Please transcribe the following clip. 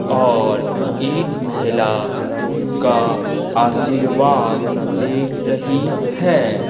और एक महिला उनका आशीर्वाद ले रही है।